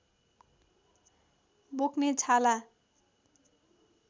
बोक्ने छाला